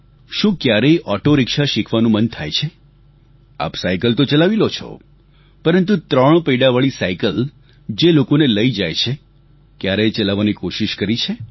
શું ક્યારેય auto rickshaw શીખવાનું મન થાય છે આપ સાયકલ તો ચલાવી લ્યો છો પરંતુ ત્રણ પૈડાવાળી સાયકલ જે લોકોને લઈને જાય છે ક્યારેય ચલાવવાની કોશીશ કરી છે